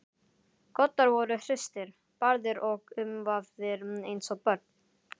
Koddar voru hristir, barðir og umvafðir eins og börn.